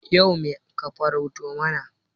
Yau me ka farauto mana?